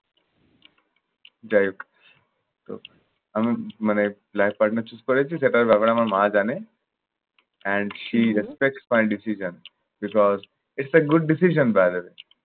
যাই হোক। তো আমি মানে life partner choose করেছি। সেটার ব্যাপারে আমার মা জানে and she respect my decision, because its a good decision by the way